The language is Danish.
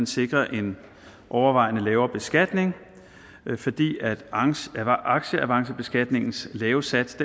sikre en overvejende lavere beskatning fordi aktieavancebeskatningens lave sats